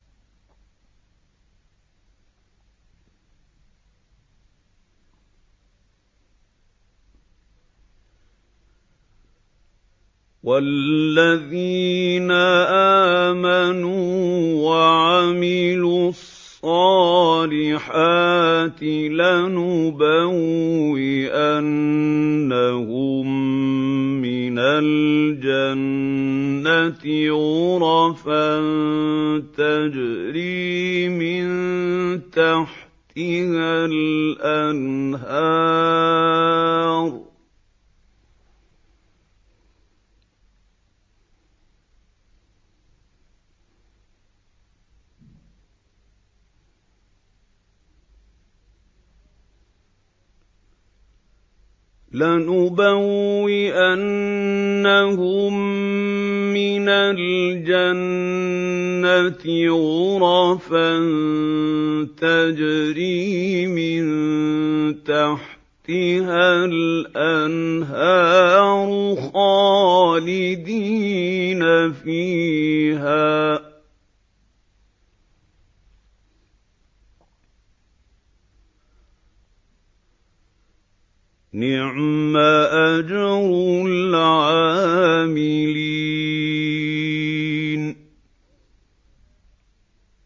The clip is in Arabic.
وَالَّذِينَ آمَنُوا وَعَمِلُوا الصَّالِحَاتِ لَنُبَوِّئَنَّهُم مِّنَ الْجَنَّةِ غُرَفًا تَجْرِي مِن تَحْتِهَا الْأَنْهَارُ خَالِدِينَ فِيهَا ۚ نِعْمَ أَجْرُ الْعَامِلِينَ